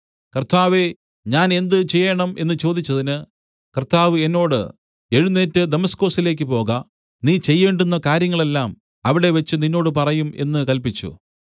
കർത്താവേ ഞാൻ എന്ത് ചെയ്യേണം എന്നു ചോദിച്ചതിന് കർത്താവ് എന്നോട് എഴുന്നേറ്റ് ദമസ്കൊസിലേക്ക് പോക നീ ചെയ്യേണ്ടുന്ന കാര്യങ്ങളെല്ലാം അവിടെവച്ച് നിന്നോട് പറയും എന്നു കല്പിച്ചു